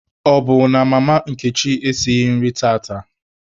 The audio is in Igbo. Ọ bụ na mama Nkechi esighị nri tata?